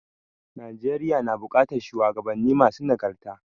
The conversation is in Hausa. Najeriya nu buƙatar shuwagabanni masu nagarta.